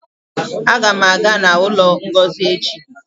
Aga m aga n'ụlọ Ngozi echi